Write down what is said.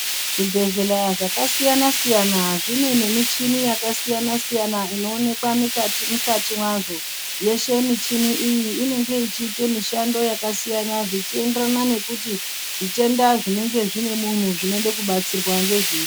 Zvibhehleya zvakasiyanasiyana zvine nemichini yakasiyanasiyana inoonekwa mukati mwazvo yeshe michini iyi inonga ichiita mishando yakasiyana zvichienderana nekuti zvitenda zvinenge zvinemunhu zvinode kubatsirwa ngezvipi.